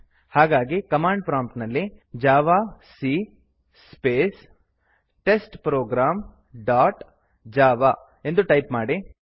ಹಾಗಾಗಿ command prompt ನಲ್ಲಿ javac space test program dot java ಎಂದು ಟೈಪ್ ಮಾಡಿ